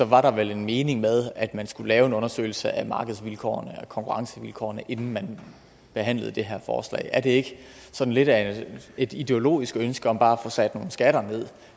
var der vel en mening med at man skulle lave en undersøgelse af markedsvilkårene af konkurrencevilkårene inden man behandlede det her forslag er det ikke sådan lidt af et ideologisk ønske om bare at få sat nogle skatter ned